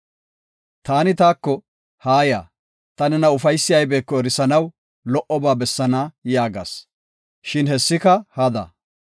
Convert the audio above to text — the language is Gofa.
Taani taako, “Haaya, ta nena ufaysi aybeko erisanaw lo7oba bessaana” yaagas; shin hessika hada.